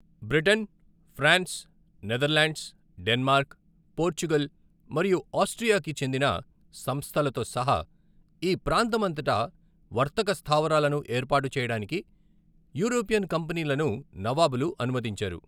Britain, France, Netherlands, Denmark, Portugal మరియు ఆస్ట్రియాకు చెందిన సంస్థలతో సహా ఈ ప్రాంతం అంతటా వర్తక స్థావరాలను ఏర్పాటు చేయడానికి యూరోపియన్ కంపెనీలను నవాబులు అనుమతించారు.